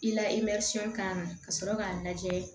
I la kan ka sɔrɔ k'a lajɛ